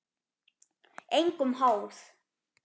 Engum háð.